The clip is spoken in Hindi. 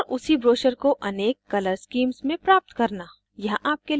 * और उसी ब्रोशर को अनेक colour schemes में प्राप्त करना